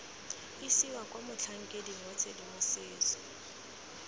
isiwa kwa motlhankeding wa tshedimosetso